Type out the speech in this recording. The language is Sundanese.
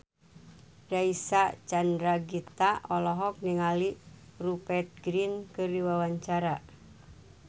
Reysa Chandragitta olohok ningali Rupert Grin keur diwawancara